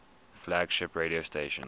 flagship radio stations